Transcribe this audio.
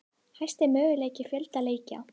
Hæsti mögulegi fjöldi leikja